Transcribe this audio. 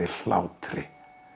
hlátri